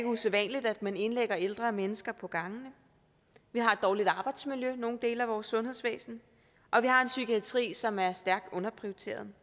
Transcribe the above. usædvanligt at man indlægger ældre mennesker på gangene vi har et dårligt arbejdsmiljø i nogle dele af vores sundhedsvæsen og vi har en psykiatri som er stærkt underprioriteret